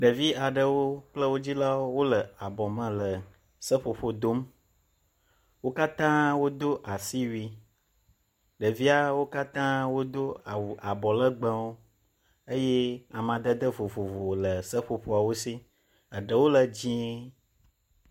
Ɖevi aɖewo kple wo dzilawo wo le abɔ me le seƒoƒo dom wo katã wo do asiwui. Ɖeviawo katã wodo awu abɔlegbewo eye amadede vovovo le seƒoƒawo si. Eɖewo le dzie.